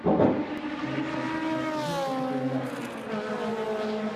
алиса расскажи что такое рафтинг